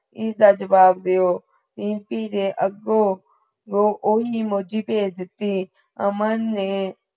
ਇਸਦਾ ਜਵਾਬ ਦਿਓ, ਰੀਮਪੀ ਨੇ ਅਗੋ ਵੋ ਓਹੀ emoji ਭੇਜ ਦਿਤੀ, ਅਮਨ ਨੇ